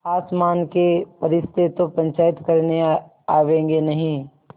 आसमान के फरिश्ते तो पंचायत करने आवेंगे नहीं